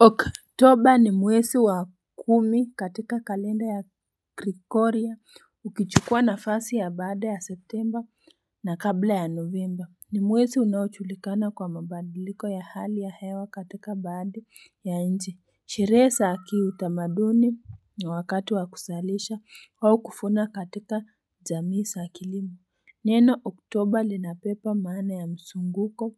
Oktoba ni mwezi wa kumi katika kalenda ya krikoria ukichukua nafasi ya baada ya Septemba na kabla ya Novemba ni mwezi unaojulikana kwa mabadiliko ya hali ya hewa katika baadhi ya nchi Sherehe za kiutamaduni na wakati wa kuzalisha au kuvuna katika jamii za kilimo Neno Oktoba linabeba maana ya mzunguko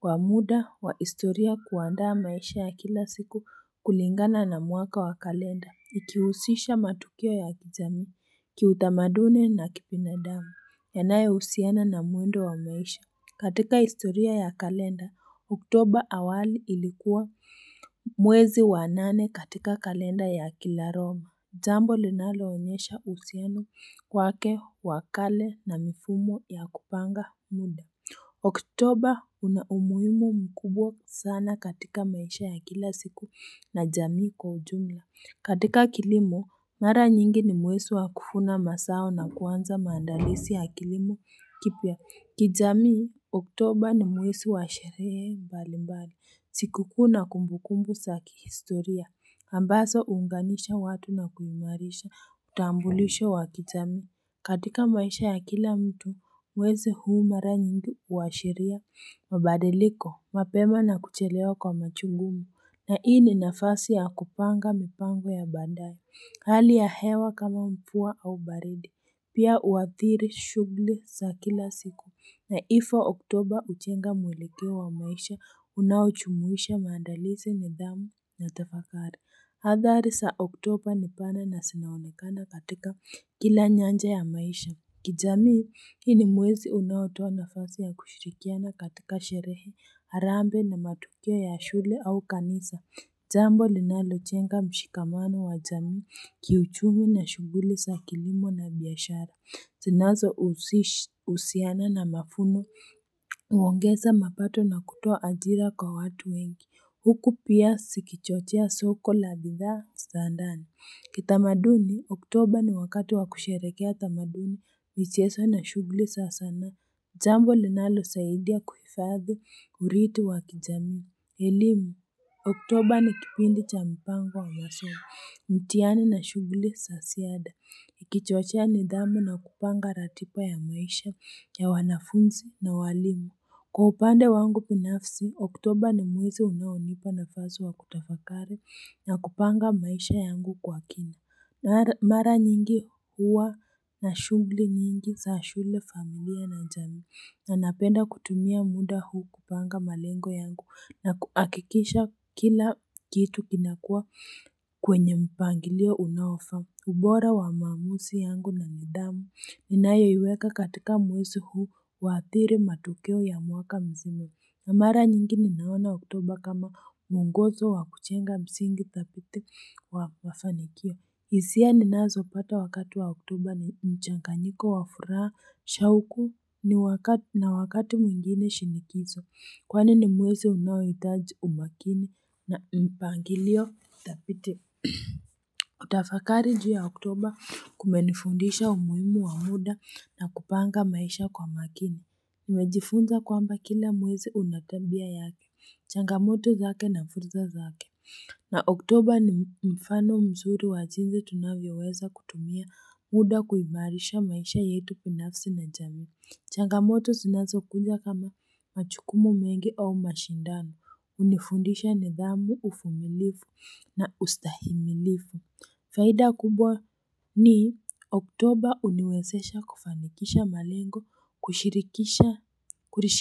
kwa muda wa historia kuandaa maisha ya kila siku kulingana na mwaka wa kalenda, ikihusisha matukio ya kijamii, kiutamaduni na kibinadamu, yanayohusiana na mwendo wa maisha. Katika historia ya kalenda, Oktoba awali ilikuwa mwezi wa nane katika kalenda ya kilaroma. Jambo linaloonyesha uhusiano wake wa kale na mifumo ya kupanga muda. Oktoba una umuhimu mkubwa sana katika maisha ya kila siku na jamii kwa ujumla. Katika kilimo, mara nyingi ni mwezi wa kuvuna mazao na kuanza maandalizi ya kilimo kipya. Kijamii, Oktoba ni mwezi wa sherehe mbali mbali, sikuku na kumbukumbu za kihistoria, ambazo huunganisha watu na kuimarisha, utambulisho wa kijamii. Katika maisha ya kila mtu, mwezi huu mara nyingi huwashiria, mabadiliko, mapema na kuchelewa kwa machungumu. Na hii ni nafasi ya kupanga mipango ya bandari, hali ya hewa kama mvua au baridi. Pia huadhiri shughuli za kila siku. Na Hivy Oktoba hujenga mwelekeo wa maisha unaojumuisha maandalizi nidhamu na tafakari. Hadhari za Oktoba ni pana na zinaonekana katika kila nyanja ya maisha. Kijami, hii ni mwezi unaotoa nafasi ya kushirikiana katika sherehe, harambe, na matukio ya shule au kanisa Jambo linalojenga mshikamano wa jamii kiuchumi na shughuli za kilimo na biashara. Zinazohusiana na mavuno huongeza mapato na kutoa ajira kwa watu wengi. Huku pia zikichochea soko la bidhaa za ndani. Kitamaduni, Oktoba ni wakati wa kusherehekea tamaduni michezo na shughuli za sanaa. Jambo linalosaidia kuhifadhi urithi wa kijamii. Kielimu Oktoba ni kipindi cha mipango wa masomo, mtihani na shughuli za ziada ikichochea nidhamu na kupanga ratiba ya maisha ya wanafunzi na walimu kkwa upande wangu binafsi Oktoba ni mwezi unaonipa nafasi wa kutafakari na kupanga maisha yangu kwa kina. Mara nyingi huwa na shunghuli nyingi za shule, familia, na jamii na napenda kutumia muda huu kupanga malengo yangu na kuhakikisha kila kitu kinakuwa kwenye mpangilio unaofaa ubora wa maamuzi yangu na nidhamu ninayoiweka katika mwezi huu huathiri matokeo ya mwaka mzima. Na mara nyingi ninaona oktoba kama muongozo wa kujenga msingi thabiti wa mafanikio hisia ninazopata wakati wa Oktoba ni mchanganyiko wa furaha shauku na wakati mwingine shinikizo Kwani ni mwezi unaohitaji umakini na mpangilio thabiti kutafakari juu ya Oktoba kumenifundisha umuhimu wa muda na kupanga maisha kwa makini. Nimejifunza kwamba kila mwezi una tabia yake, changamoto zake na fursa zake na Oktoba ni mfano mzuri wa jinsi tunavyoweza kutumia muda kuimarisha maisha yetu binafsi na jamii. Changamoto zinazokuja kama majukumu mengi au mashindano, hunifundisha nidhamu uvumilivu na ustahimilifu, faida kubwa ni Oktoba huniwezesha kufanikisha malengo,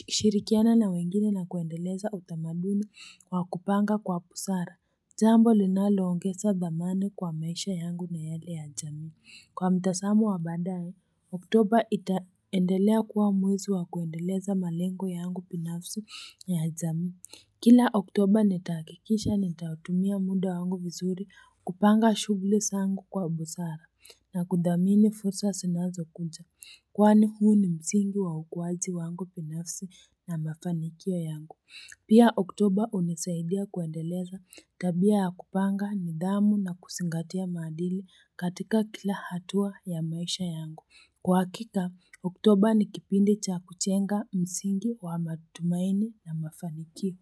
kushirikiana na wengine na kuendeleza utamaduni wa kupanga kwa busara jambo linaloongeza dhamana kwa maisha yangu na yale ya jamii Kwa mtazamo wa baadaye, Oktoba itaendelea kuwa mwezi wa kuendeleza malengo yangu binafsi na ya jamii Kila Oktoba nitahakikisha nitautumia muda wangu vizuri kupanga shughuli zangu kwa busara na kudhamini fursa zinazokuja kwani huu ni msingi wa ukuwaji wangu binafsi na mafanikio yangu. Pia Oktoba hunisaidia kuendeleza tabia ya kupanga nidhamu na kuzingatia maadili katika kila hatua ya maisha yangu. Kwa hakika, Otoba ni kipindi cha kujenga msingi wa matumaini na mafanikio.